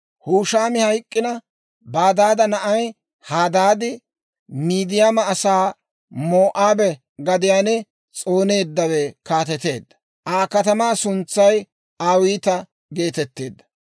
Hushaami hayk'k'ina, Badaada na'ay Hadaadi, Midiyaama asaa moo'aabe gadiyaan s'ooneeddawe kaateteedda; Aa katamaa suntsay Awiita geetetteedda.